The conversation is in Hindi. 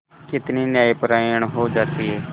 कितनी न्यायपरायण हो जाती है